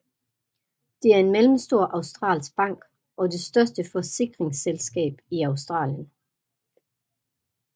Det er en mellemstor australsk bank og det største forsikringsselskab i Australien